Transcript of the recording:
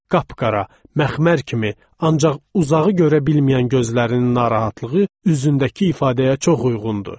Qapqara, məxmər kimi, ancaq uzağı görə bilməyən gözlərinin narahatlığı üzündəki ifadəyə çox uyğundu.